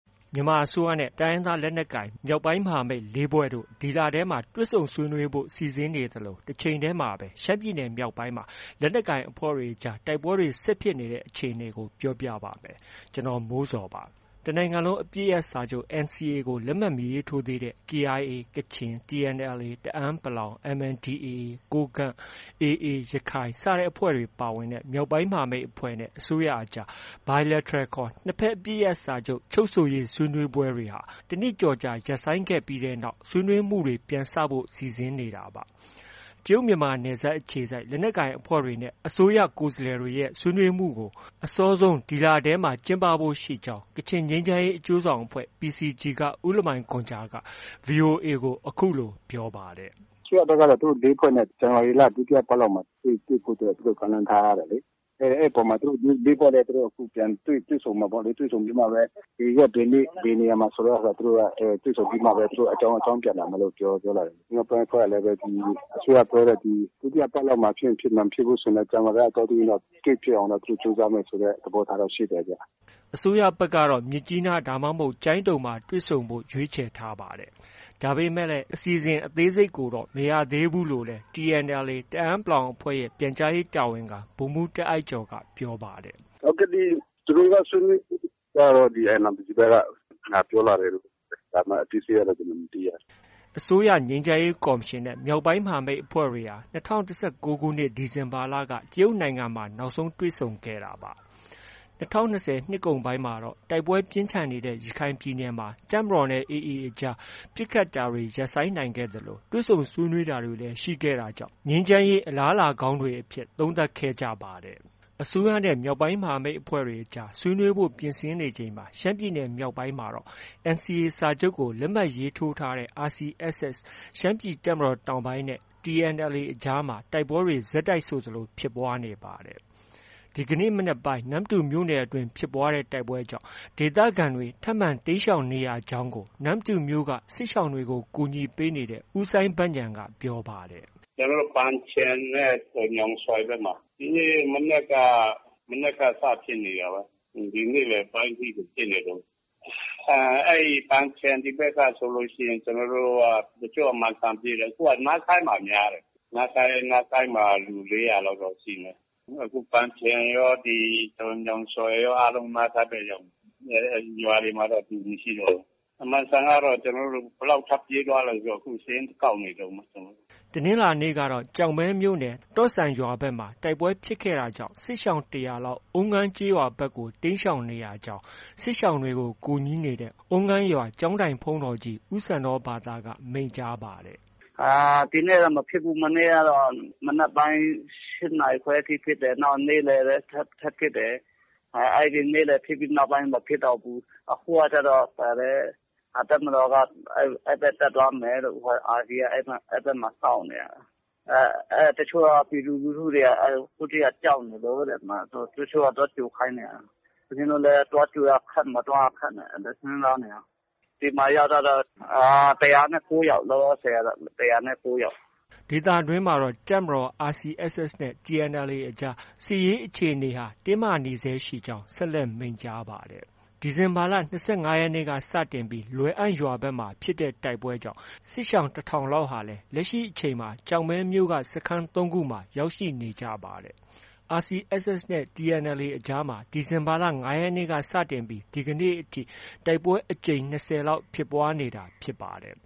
မြန်မာအစိုးရနဲ့ တိုင်းရင်းသားလက်နက်ကိုင် မြောက်ပိုင်းမဟာမိတ် ၄ ဖွဲ့တို့ ဒီလထဲ တွေ့ဆုံဆွေးနွေးဖို့ စီစဉ်နေသလို၊ တချိန်တည်းမှာပဲ ရှမ်းပြည်မြောက်ပိုင်းမှာ လက်နက်ကိုင် အဖွဲ့တွေကြား တိုက်ပွဲတွေ ဆက်ဖြစ်နေတဲ့ အခြေအနေကို ဗွီအိုအေမြန်မာပိုင်း သတင်းထောက် ကိုမိုးဇော်က ပြောပြပါမယ်။ တစ်နိုင်ငံလုံးအပစ်ရပ်စာချုပ် လက်မှတ် မရေးထိုးသေးတဲ့ KIA ကချင်၊ TNLA တအန်း(ပလောင်)၊ MNDAA ကိုးကန့်၊ AA ရခိုင် ပါဝင်တဲ့ မြောက်ပိုင်းမဟာမိတ်အဖွဲ့နဲ့ အစိုးရအကြား Bilateral နှစ်ဘက်အပစ်ရပ်စာချုပ် ချုပ်ဆိုရေး ဆွေးနွေးပွဲတွေ တစ်နှစ်ကျော်ကြာ ရပ်ဆိုင်းနေခဲ့ပြီးနောက် ဆွေးနွေးမှုတွေ ပြန်စဖို့ စီစဉ်နေတာပါ။ တရုတ်နိုင်ငံနယ်စပ်အခြေစိုက် လက်နက်ကိုင်အဖွဲ့တွေနဲ့ အစိုးရကိုယ်စားလှယ်တွေရဲ့ ဆွေးနွေးမှုတွေကို အစောဆုံး ဒီလထဲ ကျင်းပဖို့ရှိနေကြောင်း ကချင်ငြိမ်းချမ်းရေး အကျိုးဆောင်အဖွဲ့ PCG က ဦးလမိုင်ဂွမ်ဂျာက VOA ကို အခုလို ပြောပါတယ်။ “အစိုးရဘက်ကတော့ သူတို့ ၄ ဖွဲ့နဲ့ ဒီဇန်နဝါရီလ ဒုတိယပတ်မှာတွေ့ဖို့တော့ ကမ်းလှမ်းထားတယ်လေ။ အဲဒီအပေါ်မှာ သူတို့ ၄ ဖွဲ့လည်း ပြန်တွေ့ဆုံမယ်ပေါ့လေ။ တွေ့ဆုံပြီးမှပဲ ဘယ်ရက်၊ ဘယ်နေ့ ၊ ဘယ်နေရာမှာ ဆိုတာ သူတို့ တွေ့ဆုံပြီးမှပဲ သူတို့ အကြောင်းပြန်လာမယ်လို့ ပြောလာတယ်။ မြောက်ပိုင်းအဖွဲ့ကလည်း အစိုးရပြောတဲ့ ဒီ ဒုတိယပတ်လောက်မှာ ဖြစ်ချင် ဖြစ်မယ်။ မဖြစ်ဘူးဆိုရင်တော့ ဇန်နဝါရီလ အတောအတွင်းတော့ တွေ့ဖြစ်အောင်တော့ သူတို့ ကြိုးစားမယ်ဆိုတဲ့ သဘောထားတော့ ရှိတယ်ဗျ။” အစိုးရဘက်ကတော့ မြစ်ကြီးနား ဒါမှမဟုတ် ကျိုင်းတုံကို တွေ့ဆုံဖို့ကို ရွေးခြယ်ထားပါတယ်။ ဒါပေမဲ့လည်း အစီအစဉ် အသေးစိတ်ကိုတော့ မရသေးဘူးလို့လည်း TNLA တအန်း(ပလောင်)တပ်ဖွဲ့ရဲ့ ပြန်ကြားရေးတာဝန်ခံ ဗိုလ်မှုးတာ့အိုက်ကျော်က ပြောပါတယ်။ “သူတို့က ဆွေးနွေးဖို့ကျတော့ NRPC ဘက်က ပြောလာတယ်… ဒါပေမဲ့ အသေးစိတ် ကျတော့ ကျနော် မသိရသေးဘူး။” အစိုးရငြိမ်းချမ်းရေးကော်မရှင်နဲ့ မြောက်ပိုင်းမဟာမိတ်အဖွဲ့တွေဟာ ၂၀၁၉ ဒီဇင်ဘာလက တရုတ်နိုင်ငံမှာ နောက်ဆုံးတွေ့ဆုံခဲ့တာပါ။ ၂၀၂၀ နှစ်ကုန်ပိုင်းမှာတော့ တိုက်ပွဲပြင်းထန်ခဲ့တဲ့ ရခိုင်ပြည်နယ်မှာ တပ်မတော်နဲ့ AA အကြား ပစ်ခတ်တာတွေ ရပ်ဆိုင်းနိုင်ခဲ့သလို တွေ့ဆုံဆွေးနွေးတာတွေလည်း ရှိခဲ့တာကြောင့် ငြိမ်းချမ်းရေး အလားအလာကောင်းတွေအဖြစ် သုံးသပ်ခဲ့ကြပါတယ်။ အစိုးရနဲ့ မြောက်ပိုင်းမဟာမိတ်အကြား ဆွေးနွေးဖို့ ပြင်ဆင်နေချိန်မှာ ရှမ်းပြည်နယ်မြောက်ပိုင်းမှာတော့ NCA စာချုပ်ကို လက်မှတ်ရေးထိုးထားတဲ့ RCSS ရှမ်းပြည်တပ်မတော်တောင်ပိုင်းနဲ့ TNLA အကြားမှာ တိုက်ပွဲတွေ ဆက်တိုက်ဆိုသလိုဖြစ်ပွားနေပါတယ်။ ဒီကနေ့ မနက်ပိုင်း နမ္မတူမြို့နယ်အတွင်း ဖြစ်ပွားတဲ့တိုက်ပွဲကြောင့် ဒေသခံတွေ ထပ်မံတိမ်းရှောင်နေရကြောင်းကို နမ္မတူမြို့က စစ်ရှောင်တွေကို ကူညီပေးနေတဲ့ ဦးစိုင်းဘဉာဏ်က ပြောပါတယ်။ “ကျနော်တို့ ဒီနေ့က ပန်ချင်နဲ့ ညောင်ဆွယ်ဘက်မှာ၊ မနက်က စဖြစ်နေတာပဲ။ နေ့လယ်ပိုင်းထိကို ဖြစ်နေတုန်း။ ပန်ချင်ဒီဘက်က ဆိုရင် တချို့က မန်စံပြေးတယ်။ နားဆိုင်းမှာ များတယ်။ နားဆိုင်းမှာ လူ ၄၀၀ လောက်တော့ ရှိမယ်။ အခု ပန်ချင်ရော၊ ညောင်ဆွယ်ရော၊ နားဆိုင်းဘက် ရောက်နေတယ်။ ရွာတွေမှာတော့ လူ မရှိတော့ဘူး။ မန်စံမှာတော့ ဘယ်လောက် ထပ်ပြေးသွားလဲဆိုတာ စာရင်းကောက်နေတုန်းပဲ။” တနင်္လာနေ့ကတော့ ကျောက်မဲမြိ့နယ် တော့ဆန်ရွာဘက်မှာ တိုက်ပွဲဖြစ်ပွားခဲ့တာကြောင့် စစ်ရှောင် ၁၀၀ လောက်ဟာ အုံးငန်းကျေးရွာဘက်ကို တိမ်းရှောင်နေရကြောင်း စစ်ရှောင်တွေကို ကူညီနေတဲ့ အုံးငန်းရွာ ကျောင်းထိုင်ဆရာတော် ဦးစန္ဒောဘာသက မိန့်ကြားပါတယ်။ “ဒီနေ့တော့ မဖြစ်ဘူး။ မနေ့ကတော့ မနက်ပိုင်း ၈ နာရီခွဲထိ ဖြစ်တယ်။ နောက် နေ့လယ်လည်း ထပ်ဖြစ်တယ်။ နေ့လယ်ဖြစ်ပြီးနောက်ပိုင်း မဖြစ်တော့ဘူး။ အခုကကျတော့ တပ်မတော်က အဲဒီဘက် တက်သွားမယ်လို့၊ RCSS က အဲဒီဘက်မှာ စောင့်နေတာ။ အဲဒီက ပြည်သူလူထုတွေက ကြောက်နေလို့တဲ့၊ တချို့က သွားကြိုခိုင်းနေတာ။ ဦးဇင်းတို့လည်း သွားကြိုရခက်။ မသွားရခက်နဲ့ စဉ်းစားနေတာ။ ဒီမှာရောက်တာတော့ ၁၀၉ ယောက်။” ဒေသတွင်းမှာတော့ တပ်မတော်၊ RCSS နဲ့ TNLA အကြား စစ်ရေးအခြေအနေဟာ တင်းမာနေဆဲရှိကြောင်း ဆက်လက် မိန့်ကြားပါတယ်။ ဒီဇင်ဘာလ ၂၅ ရက်နေ့က စတင်ပြီး လွယ်အံရွာဘက်မှာ ဖြစ်တဲ့တိုက်ပွဲကြောင့် စစ်ရှောင် ၁,၀၀၀ လောက်ဟာ လက်ရှိအချိန်မှာ ကျောက်မဲမြို့စခန်း ၃ ခုမှာ ရောက်ရှိနေကြပါတယ်။ RCSS နဲ့ TNLA အကြားမှာ ဒီဇင်ဘာလ ၅ ရက်နေ့က စတင်ပြီး ဒီကနေ့အထိ တိုက်ပွဲအကြိမ် ၂၀ လောက် ဖြစ်ပွားနေတာဖြစ်ပါတယ်